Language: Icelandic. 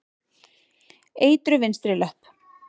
Eitruð vinstri löpp.